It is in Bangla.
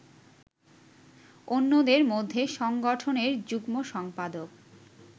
অন্যদের মধ্যে সংগঠনের যুগ্ম সম্পাদক